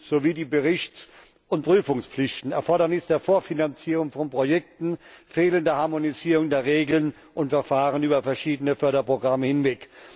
sowie die Berichts und Prüfungspflichten, Erfordernis der Vorfinanzierung von Projekten, fehlende Harmonisierung der Regeln und Verfahren über verschiedene Förderprogramme hinweg.